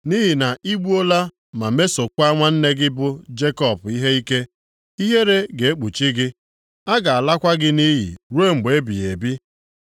Nʼihi na i gbuola ma mesokwa nwanne gị bụ Jekọb ihe ike. Ihere ga-ekpuchi gị; a ga-alakwa gị nʼiyi ruo mgbe ebighị ebi.